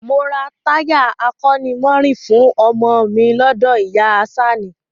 Mo ra táyà akọ́nimọ̀ọ́rìn fún ọmọ ọ mi lọ́dọ̀ ìyá a Àṣàní